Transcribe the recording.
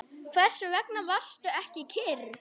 Hvers vegna varstu ekki kyrr?